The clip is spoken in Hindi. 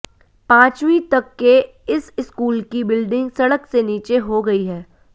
पांचवीं तक के इस स्कूल की बिल्डिंग सड़क से नीचे हो गई है